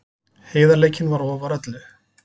Heiðarleikinn var ofar öllu.